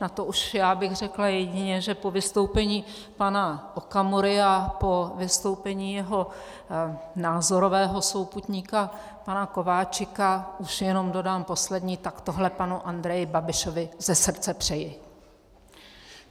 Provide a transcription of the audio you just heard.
Na to už já bych řekla jedině, že po vystoupení pana Okamury a po vystoupení jeho názorového souputníka pana Kováčika už jenom dodám poslední: Tak tohle panu Andreji Babišovi ze srdce přeji!